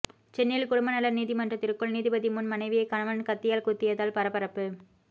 சென்னையில் குடும்பநல நீதிமன்றத்திற்குள் நீதிபதி முன் மனைவியை கணவன் கத்தியால் குத்தியதால் பரபரப்பு